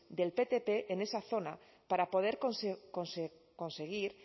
del ptp en esa zona para poder conseguir